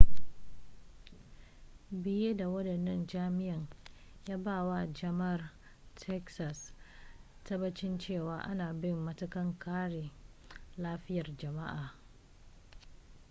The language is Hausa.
biye da wadannan jami'an ya ba wa jama'ar texas tabbacin cewa ana bin matakan kare lafiyar jama'a